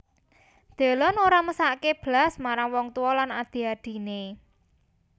Delon ora mesakke blas marang wong tuwa lan adhi adhine